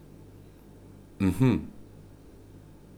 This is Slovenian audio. Mhm.